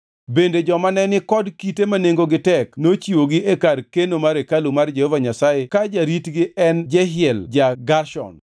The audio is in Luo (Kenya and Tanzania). Bende joma ne ni kod kite ma nengogi tek nochiwogi e kar keno mar hekalu mar Jehova Nyasaye ka jaritgi en Jehiel ja-Gershon.